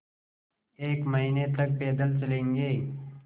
एक महीने तक पैदल चलेंगे